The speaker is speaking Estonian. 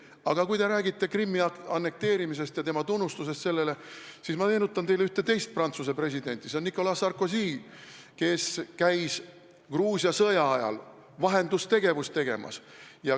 Aga kui te räägite Krimmi annekteerimisest ja sellest, et ta on seda tunnustanud, siis ma meenutan teile ühte teist Prantsuse presidenti, Nicolas Sarkozyd, kes Gruusia sõja ajal vahendustegevusega tegeles.